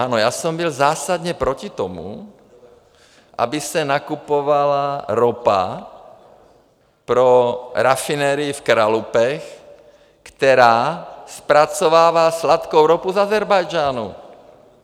Ano, já jsem byl zásadně proti tomu, aby se nakupovala ropa pro rafinerii v Kralupech, která zpracovává sladkou ropu z Ázerbájdžánu.